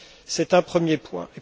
C'est un premier point.